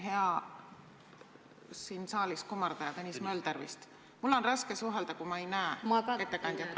Vabandust, hea saalis kummardaja, Tõnis Mölder vist, mul on raske suhelda, kui ma ei näe ettekandjat!